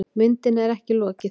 Myndinni er ekki lokið.